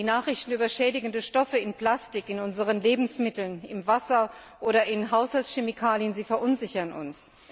Die Nachrichten über schädigende Stoffe in Plastik, in unseren Lebensmitteln, im Wasser oder in Haushaltschemikalien verunsichern uns.